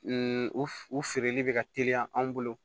u f u feereli bɛ ka teliya anw bolo